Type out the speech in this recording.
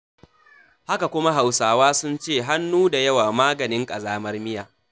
Haka kuma Hauswa sun ce,'hannu da yawa maganin ƙazamar miya.